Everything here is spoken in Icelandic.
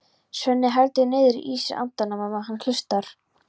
Svenni heldur niðri í sér andanum á meðan hann hlustar.